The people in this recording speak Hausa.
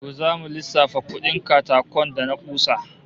To zamu lissafa kudin katakon da na kusa